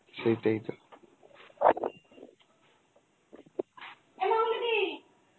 সেটাই তো